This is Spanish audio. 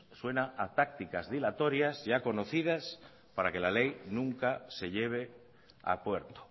suena a tácticas dilatorias ya conocidas para que la ley nunca se lleve a puerto